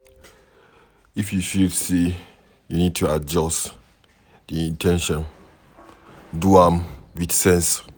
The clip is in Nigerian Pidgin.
If you feel sey you need to adjust di in ten tion, do am with sense